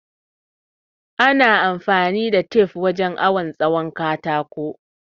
Ana amfani da tef wurin awon tsawon katako